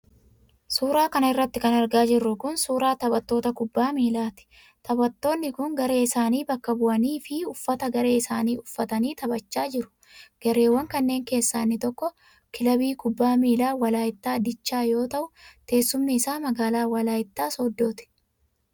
Suura kana irratti kan argaa jirru kun ,suura taphattoota kubbaa miilaatii. Taphattonni kun garee isaanii bakka bu'anii fi uffata garee isaanii uffatanii taphachaa jiru. Gareewwan kanneen keessaa inni tokko kilabii kubbaa miilaa Walaayittaa Dichaa yoo ta'u, teessumni isaa magaalaa Walaayittaa sooddooti.